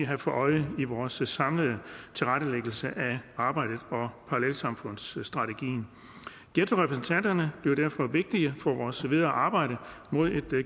have for øje i vores samlede tilrettelæggelse af arbejdet og parallelsamfundsstrategien ghettorepræsentanterne bliver derfor vigtige for vores videre arbejde mod et